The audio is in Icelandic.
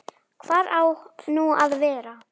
Hvar á nú að vera?